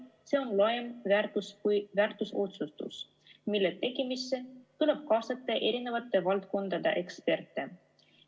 See on otsustus, mille tegemisse tuleb kaasata eri valdkondade eksperte.